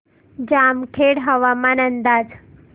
जामखेड हवामान अंदाज